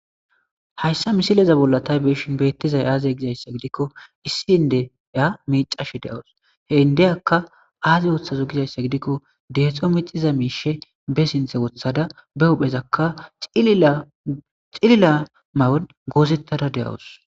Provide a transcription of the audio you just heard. Hayssa misileza bolla tay be'ishin beettizay aaze gizayssa gidikko issi indeya miicashe de7awus he indeyakka aaze woththazo gizayssa gidikko deexxo mixiza miishe be sinthe wothada be huphezakka xilila ma7on goozettada de7awus.